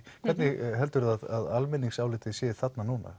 hvernig heldur þú að almenningsálitið sé þarna núna